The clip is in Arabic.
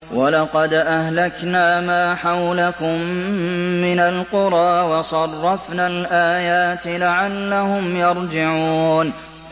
وَلَقَدْ أَهْلَكْنَا مَا حَوْلَكُم مِّنَ الْقُرَىٰ وَصَرَّفْنَا الْآيَاتِ لَعَلَّهُمْ يَرْجِعُونَ